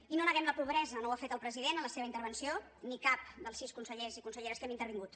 i no neguem la pobresa no ho ha fet el president en la seva intervenció ni cap dels sis consellers i conselleres que hem intervingut